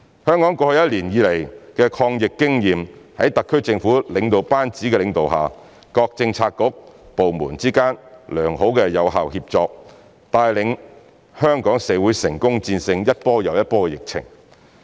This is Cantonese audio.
香港過去一年多以來的抗疫經驗，在特區政府領導班子的領導下，各政策局/部門之間良好有效協作，帶領着香港社會成功戰勝一波又一波的疫情。